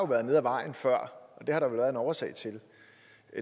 været nede ad vejen før og det har der vel været en årsag til